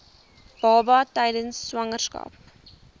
baba tydens swangerskap